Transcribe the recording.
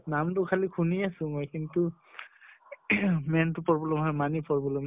নামটো খালী শুনি আছো মই কিন্তু ing main টো problem হয় money problem